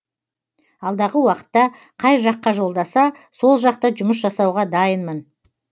алдағы уақытта қай жаққа жолдаса сол жақта жұмыс жасауға дайынмын